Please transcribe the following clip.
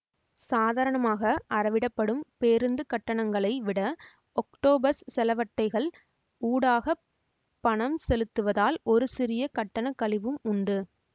சாதாரணமாக அறவிடப்படும் பேருந்து கட்டணங்களை விட ஒக்டோப்பஸ் செலவட்டைகள் ஊடாக பணம் செலுத்துவதால் ஒரு சிறிய கட்டண கழிவும் உண்டு